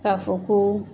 K'a fɔ ko